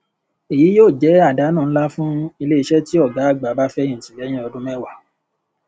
èyí yóò jẹ àdánù ńlá fún iléiṣẹ tí ògá àgbà bá fẹyìntì lẹyìn ọdún mẹwàá